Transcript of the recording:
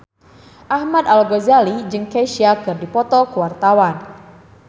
Ahmad Al-Ghazali jeung Kesha keur dipoto ku wartawan